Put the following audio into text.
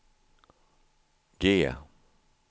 G